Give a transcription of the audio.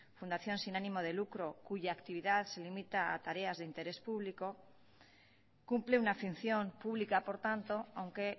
fundación sin ánimo de lucro cuya actividad se limita a tareas de interés público cumple una función pública por tanto aunque